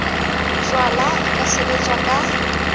jalwa e ka sebetswa ka